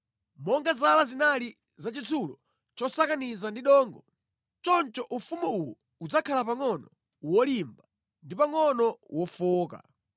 Monga zala zinali za chitsulo chosakaniza ndi dongo, choncho ufumu uwu udzakhala pangʼono wolimba ndi pangʼono wofowoka.